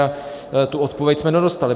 A tu odpověď jsme nedostali.